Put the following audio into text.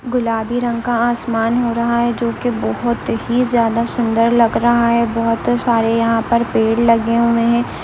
गुलाबी रंग का आसमान हो रहा है जो की बहुत ही ज्यादा सुंदर लग रहा है बहुत सारे यहां पर पेड़ लगे हुए हैं।